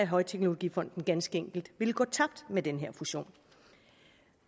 højteknologifonden ganske enkelt ville gå tabt med den her fusion